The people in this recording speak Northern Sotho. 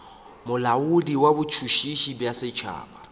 molaodi wa botšhotšhisi bja setšhaba